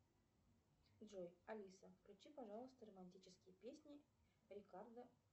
джой алиса включи пожалуйста романтические песни рикардо